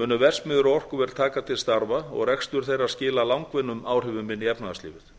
munu verksmiðjur og orkuver taka til starfa og rekstur þeirra skila langvinnum áhrifum inn í efnahagslífið